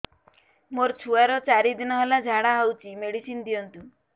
ମୋର ଛୁଆର ଚାରି ଦିନ ହେଲା ଝାଡା ହଉଚି ମେଡିସିନ ଦିଅନ୍ତୁ